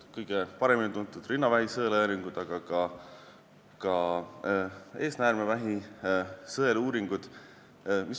Kõige paremini on tuntud rinnavähi uuringud, aga tehakse ka eesnäärmevähi sõeluuringuid.